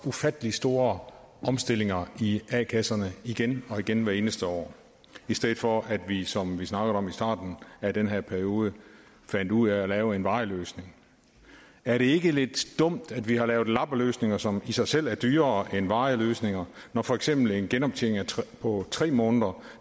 ufattelig store omstillinger i a kasserne igen og igen hvert eneste år i stedet for at vi som vi snakkede om i starten af den her periode fandt ud af at lave en varig løsning er det ikke lidt dumt at vi har lavet lappeløsninger som i sig selv er dyrere end varige løsninger når for eksempel en genoptjening på tre måneder